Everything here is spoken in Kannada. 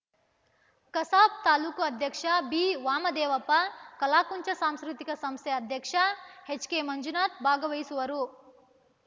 ಕಸಾಪ ತಾಲೂಕು ಅಧ್ಯಕ್ಷ ಬಿವಾಮದೇವಪ್ಪ ಕಲಾಕುಂಚ ಸಾಂಸ್ಕೃತಿಕ ಸಂಸ್ಥೆ ಅಧ್ಯಕ್ಷ ಕೆಎಚ್‌ಮಂಜುನಾಥ ಭಾಗವಹಿಸುವರು